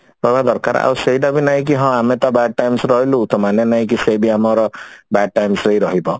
ତମେ ଦରକାର ଆଉ ସେଇଟା ବି ନାଇଁ କି ହଁ ଆମେ ତା bad times ରେ ରହିଲୁ ତ ମାନେ ନାଇଁ କି ସେ ବି ଆମର bad times ରେ ହି ରହିବ